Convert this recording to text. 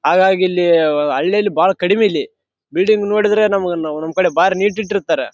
ಹಾಗಾಗಿ ಇಲ್ಲಿ ಹಳ್ಳಿಲಿ ಬಾಳ ಕಡಿಮಿ ಇಲ್ಲಿ. ಬಿಲ್ಡಿಂಗ್‌ ನೋಡಿದ್ರ ನಮ್‌ ನಮ್ ಕಡೆ ಬಾರಿ ನೀಟ್‌ ಇಟ್ಟಿರ್ತಾರ.